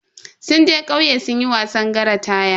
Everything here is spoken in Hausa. Sun je kauye sunyi wasan ƙasa taya.